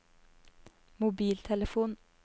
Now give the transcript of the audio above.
mobiltelefon